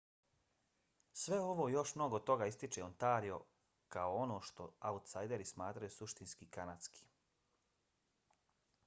sve ovo i još mnogo toga ističe ontario kao ono što autsajderi smatraju suštinski kanadskim